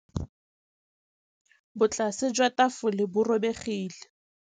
Botlasê jwa tafole bo robegile.